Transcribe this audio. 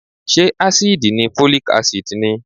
Ṣé ásíìdì ni Folic Acid ni?